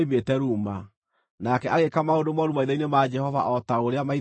Nake agĩĩka maũndũ mooru maitho-inĩ ma Jehova o ta ũrĩa maithe make meekĩte.